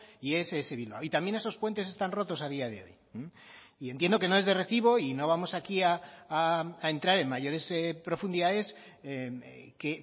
y ess bilbao y también esos puentes están rotos a día de hoy y entiendo que no es de recibo y no vamos aquí a entrar en mayores profundidades que